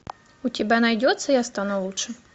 у тебя найдется я стану лучше